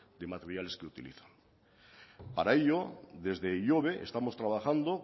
de materiales que utilizan para ello desde ihobe estamos trabajando